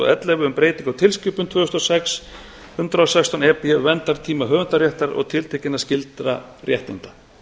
ellefu um breytingu á tilskipun tvö þúsund og sex hundrað og sextán e b verndartíma höfundaréttar og tiltekinna skyldra réttinda